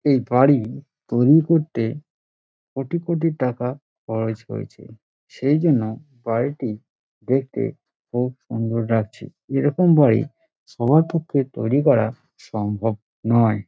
এই বাড়ি তৈরী করতে কোটি কোটি টাকা খরচ হয়েছে। সেই জন্য বাড়িটি দেখতে খুব সুন্দর লাগছে। এরকম বাড়ি সবার পক্ষে তৈরী করা সম্ভব নয়।